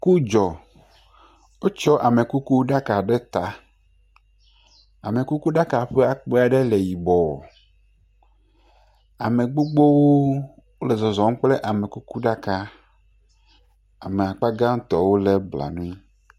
Ku dzɔ. Wokɔ amekukuɖaka ɖe ta. Amekukuɖaka ƒe akpa ɖe le yibɔ. Ame gbogbo le zɔzɔm kple amekukuɖa. ame akpa gãtɔ wole blanui.